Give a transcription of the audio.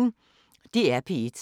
DR P1